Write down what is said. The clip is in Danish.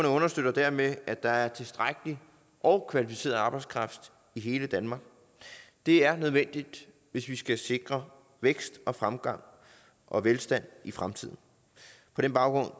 understøtter dermed at der er tilstrækkelig og kvalificeret arbejdskraft i hele danmark det er nødvendigt hvis vi skal sikre vækst fremgang og velstand i fremtiden på den baggrund